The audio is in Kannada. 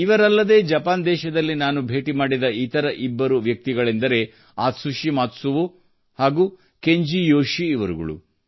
ಇವರಲ್ಲದೇ ಜಪಾನ್ ದೇಶದಲ್ಲಿ ನಾನು ಭೇಟಿ ಮಾಡಿದ ಇತರ ಇಬ್ಬರು ವ್ಯಕ್ತಿಗಳೆಂದರೆ ಆತ್ಸುಶಿ ಮಾತ್ಸುವೋ ಹಾಗೂ ಕೆಂಜೀ ಯೋಶೀ ಅವರುಗಳು